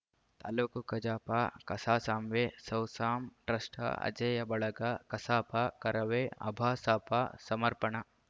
ತಾಲೂಕು ಕಜಾಪ ಕಸಾಸಾಂವೇ ಸೌಸಾಂ ಟ್ರಸ್ಟ್‌ ಅಜೇಯ ಬಳಗ ಕಸಾಪ ಕರವೇ ಅಭಾಸಾಪ ಸಮರ್ಪಣ